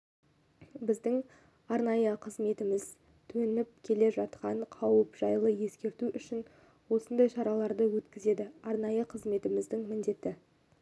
біздің арнайы қызметіміз төніп келе жатқан қауіп жайлы ескерту үшін осындай шараларды өткізеді арнайы қызметіміз міндетті